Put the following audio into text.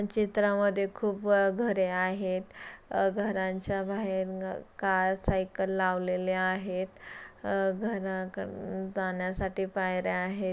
चित्रामध्ये खूप व घरे आहेत घरांच्या बाहेर कार सायकले लावलेले आहेत. घराक जाण्यासाठी पायऱ्या आहेत.